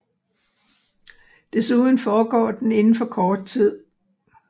Desuden foregår den inden for kort tid